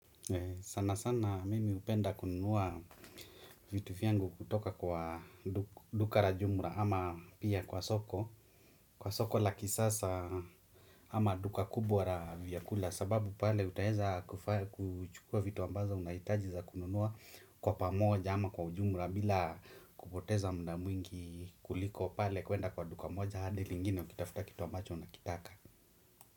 Sana sana mimi hupenda kununua vitu vyangu kutoka kwa duka la jumla ama pia kwa soko kwa soko la kisasa ama duka kubwa la vyakula sababu pale utaeza kufa kuchukua vitu ambazo unahitaji za kununua kwa pamoja ama kwa ujumla bila kupoteza muda mwingi kuliko pale kuenda kwa duka moja hadi lingine ukitafuta kitu ambacho unakitaka.